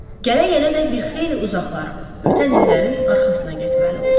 Gələ-gələ də bir xeyli uzaqlara, ötən illərin arxasına getməli oldu.